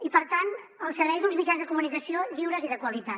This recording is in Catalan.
i per tant al servei d’uns mitjans de comunicació lliures i de qualitat